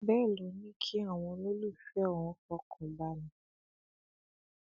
ó ní bàbá òun máa ń sọ fóun pé òun máa fi ṣe ìyàwó kejì tó bá yá